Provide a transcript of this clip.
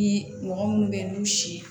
Ni mɔgɔ minnu bɛ yen n'u si ye